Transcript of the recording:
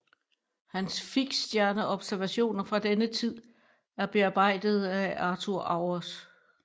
Hans fiksstjerneobservationer fra denne tid er bearbejdede af Arthur Auwers